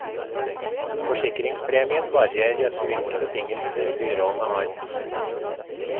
Forsikringspremien varierer etter hvilke betingelser byråene har.